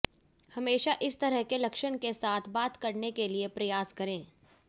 हमेशा इस तरह के लक्षण के साथ बात करने के लिए प्रयास करें